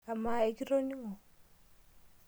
Amaa ikitoning'o?